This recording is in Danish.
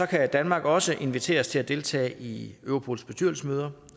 kan danmark også inviteres til at deltage i europols bestyrelsesmøder